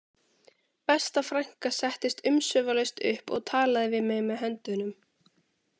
Besta frænka settist umsvifalaust upp og talaði við mig með höndunum